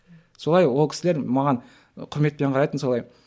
солай ол кісілер маған құрметпен қарайтын солай